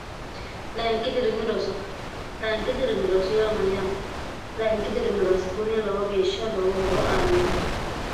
lainki dirimi roso layinki dirimi rosoyo hamayyaate lainki dirimirasi kunni lowa geeshsha lowo horo aannoho